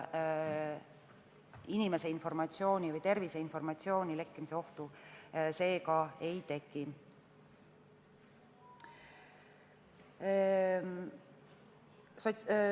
Inimese terviseinformatsiooni lekkimise lisaohtu seega ei teki.